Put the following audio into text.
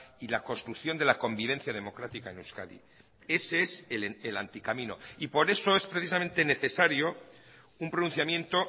y la construcción de la convivencia democrática en euskadi ese es el anticamino y por eso es precisamente necesario un pronunciamiento